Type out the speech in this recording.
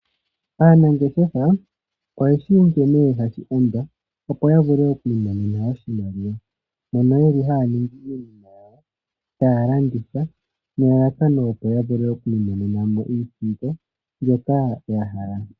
Aanangeshefa oyeshi nkene hashi endwa opo ya vule oku imonena oshimaliwa, mono yeli haya ningi iinima yawo taya landitha nelalakano opo ya vule oku imonena mo iisimpo mbyoka ya hala.